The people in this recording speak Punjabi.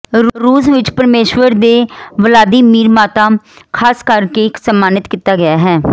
ਰੂਸ ਵਿਚ ਪਰਮੇਸ਼ੁਰ ਦੇ ਵਲਾਦੀਮੀਰ ਮਾਤਾ ਖਾਸ ਕਰਕੇ ਸਨਮਾਨਿਤ ਕੀਤਾ ਗਿਆ ਹੈ